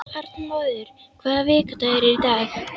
Arnmóður, hvaða vikudagur er í dag?